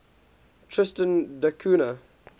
tristan da cunha